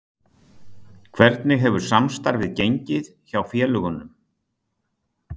Hvernig hefur samstarfið gengið hjá félögunum?